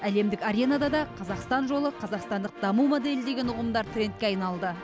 әлемдік аренада да қазақстан жолы қазақстандық даму моделі деген ұғымдар трендке айналды